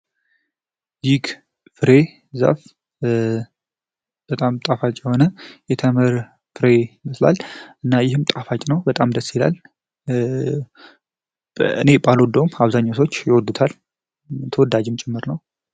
ይህ ፍሬ ዛፍ በጣም ጣፋጭ የሆነ የተምር ፍሬ ነው። እና ይህም ጣፋጭ ነው፤ በጣም ደስ ይላል። እኔ ባልወደውም አብዛኛው ሰዎች ይወዱታል። ተወዳጅም ጭምር ነው።